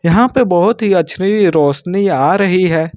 यहां पे बहुत ही अच्छी रोशनी आ रही है।